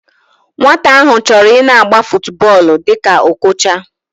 Nwata ahu choro ina agba futuboolu dika Okocha